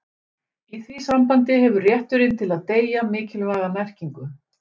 í því sambandi hefur rétturinn til að deyja mikilvæga merkingu